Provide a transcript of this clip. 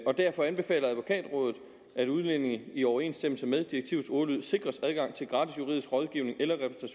derfor anbefaler advokatrådet at udlændinge i overensstemmelse med direktivets ordlyd sikres adgang til gratis juridisk rådgivning eller